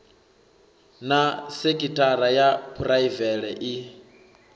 na sekitshara ya phuraivele i